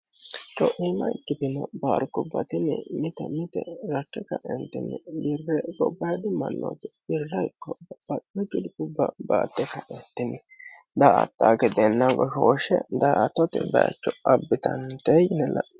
co'ima ikkitino paarikubba tini mite mite rakke kaentinni birre gobbaadi mannooti birra ikko babbaxitino culkubba baatte ka'etini da''ata no gedeenna goshooshshe da''attote bayicho abbitantee yine la'nanni.